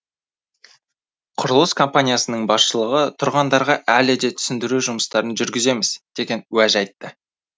құрылыс компаниясының басшылығы тұрғандарға әлі де түсіндіру жұмыстарын жүргіземіз деген уәж айтты